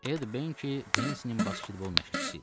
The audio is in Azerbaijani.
Ed Ben Pensinin basketbol məşqçisi idi.